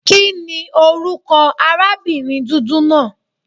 Kíni orúkọ arábìnrin dúdú náà?